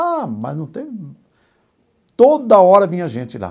Ah, mas não tem... Toda hora vinha gente lá.